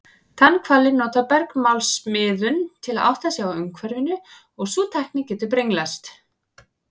Tannhvalir nota bergmálsmiðun til að átta sig á umhverfinu og sú tækni getur brenglast.